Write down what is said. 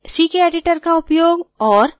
ckeditor का उपयोग और